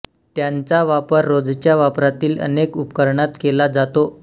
त्यांचा वापर रोजच्या वापरातील अनेक उपकरणात केला जातो